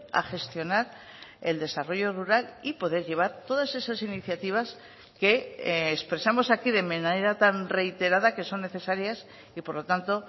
a gestionar el desarrollo rural y poder llevar todas esas iniciativas que expresamos aquí de manera tan reiterada que son necesarias y por lo tanto